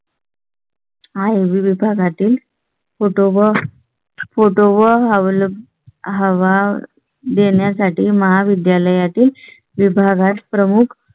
आहे विभागातील. photo व्हावा देण्यासाठी महाविद्यालया तील विभागप्रमुख